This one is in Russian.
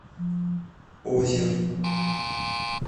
озер